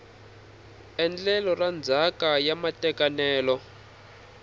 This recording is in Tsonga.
endlelo ra ndzhaka ya matekanelo